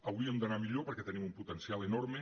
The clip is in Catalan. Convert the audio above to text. hauríem d’anar millor perquè tenim un potencial enorme